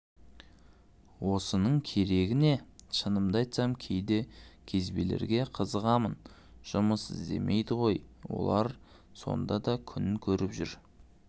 осының керегі не шынымды айтсам кейде кезбелерге қызығамын жұмыс істемейді ғой олар сонда да күнін көріп жүр